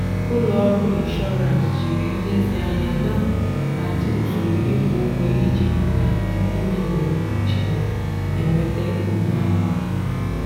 ụlọọrụ inshọrans jiri nlezianya na-ahazi usoro ịkwụ ụgwọ iji hụ na ndị niile nwere mkpuchi na-enweta uru ha n'oge.